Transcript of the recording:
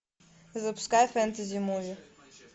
запускай фэнтези муви